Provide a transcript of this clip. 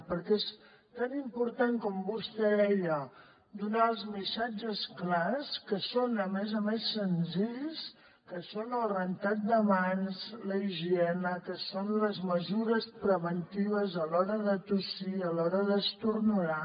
perquè és tan important com vostè deia donar els missatges clars que són a més a més senzills que són el rentat de mans la higiene que són les mesures preventives a l’hora de tossir a l’hora d’esternudar